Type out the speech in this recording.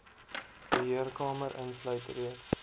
beheerkamer insluit reeds